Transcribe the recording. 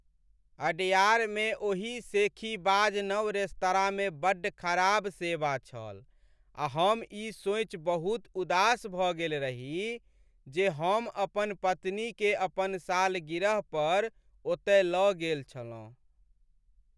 अडयारमे ओही शेखीबाज नव रेस्तराँमे बड्ड खराब सेवा छल आ हम ई सोचि बहुत उदास भऽ गेल रही जे हम अपन पत्नीकेँ अपन सालगिरह पर ओतय लऽ गेल छलहुँ।